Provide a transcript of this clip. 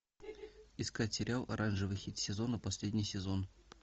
искать сериал оранжевый хит сезона последний сезон